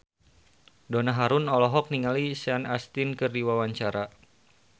Donna Harun olohok ningali Sean Astin keur diwawancara